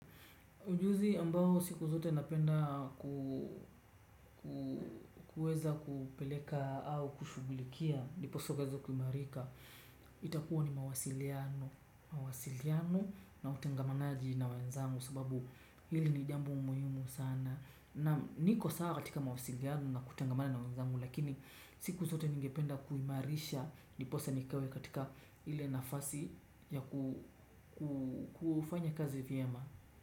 Ujuzi ambao siku zote napenda kuweza kupeleka au kushugulikia ndiposa ukaeze kuimarika. Itakuwa ni mawasiliano na utengamanaji na wenzangu sababu hili ni jambo muhimu sana. Niko sawa katika mawasiliano na kutengamana na wanzangu lakini siku zote ningependa kuimarisha. Ndiposa nikawe katika ile nafasi ya kufanya kazi vyema.